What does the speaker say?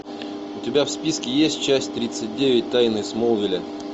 у тебя в списке есть часть тридцать девять тайны смолвиля